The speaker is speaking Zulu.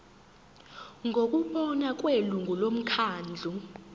ngokubona kwelungu lomkhandlu